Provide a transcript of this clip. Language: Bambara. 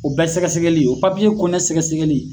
O bɛɛ sɛgɛsɛgɛli o papiye kɔnɔna sɛgɛsɛgɛli.